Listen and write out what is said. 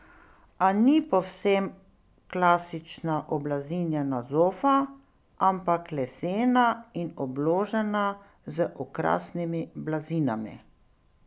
A ni povsem klasična oblazinjena zofa, ampak lesena in obložena z okrasnimi blazinami.